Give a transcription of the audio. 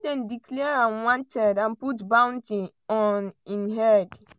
why dem declare am wanted and put bounty on im head.